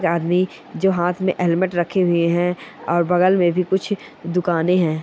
ये आदमी जो हाथ में हेलमेट रखे हुए है और बगल में भी कुछ दुकानें है।